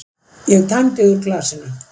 Ég tæmdi úr glasinu.